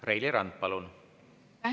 Reili Rand, palun!